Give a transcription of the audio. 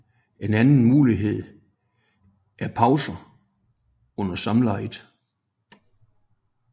En anden mulighed er pauser under samlejet